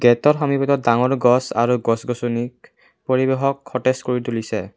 গেটৰ সমীপিতত ডাঙৰ গছ আৰু গছ গছনিক পৰিৱেশক সতেজ কৰি তুলিছে।